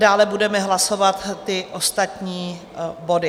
Dále budeme hlasovat ty ostatní body.